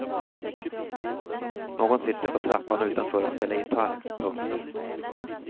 Någon sitter på trappan utanför och spelar gitarr. punkt